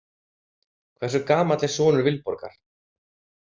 Hversu gamall er sonur Vilborgar?